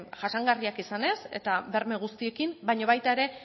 jasangarriak izanez eta berme guztiekin baina baita ere